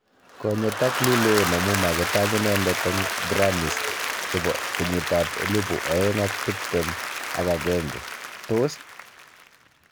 Ko nyotak Lil Wayne amu magitaach inendet eng Grammys chebo kenyit ab elibu aeng ak tiptem ak agenge: tos!